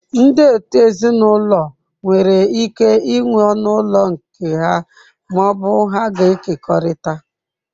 Ndị òtù ezinụlọ nwere ike ịnwe ọnụ ụlọ nke ha ma ọ bụ ha ga-ekekọrịta.